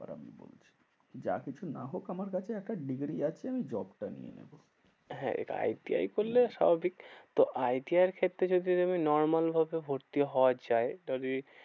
যা কিছু না হোক আমার কাছে একটা degree আছে আমি job টা নিয়ে নেবো। হ্যাঁ আই টি আই করলে সবই তো আই টি আই এর ক্ষেত্রে যদি তুমি normal ভাবে ভর্তি হওয়া যায়। তবে